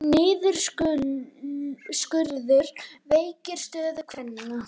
Niðurskurður veikir stöðu kvenna